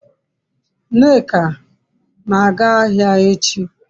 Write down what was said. nneka na-aga ahia echi